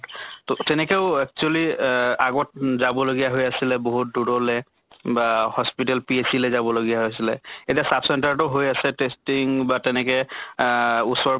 তʼ তেনেকৈও actually অহ আগত উম যাব লগিয়া হৈ আছিলে বহুত দূৰলে বা hospital PHC লে যাব লগিয়া হৈছিলে। এতিয়া sub center টো হৈ আছে testing বা তেনেকে আহ ওচৰে